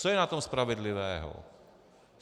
Co je na tom spravedlivého?